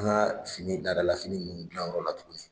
An ka fini laada la fini ninnu gilan o yɔrɔ la tuguni.